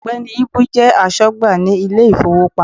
Ògbẹ́ni Íbú jẹ́ asógbà ní Ilé ìfowópamọ́